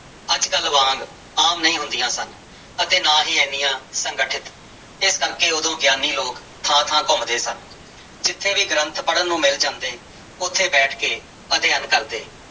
ਅੱਜ ਕੱਲ੍ਹ ਵਾਂਗ ਆਮ ਨਹੀਂ ਹੁੰਦੀਆਂ ਸਨ ਅਤੇ ਨਾ ਹੀ ਇੰਨੀਆਂ ਸੰਗਠਿਤ, ਇਸ ਕਰਕੇ ਉਦੋਂ ਗਿਆਨੀ ਲੋਕ ਥਾਂ ਥਾਂ ਘੁੰਮਦੇੇ ਸਨ ਜਿੱਥੇ ਵੀ ਗ੍ਰੰਥ ਪੜ੍ਹਨ ਨੂੰ ਮਿਲ ਜਾਂਦੇ ਉੱਥੇ ਬੈਠ ਕੇ ਅਧਿਐਨ ਕਰਦੇ।